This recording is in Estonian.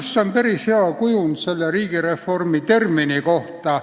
See on päris hea kujund riigireformi termini kohta.